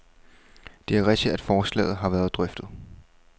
Det er rigtigt, at forslaget har været drøftet.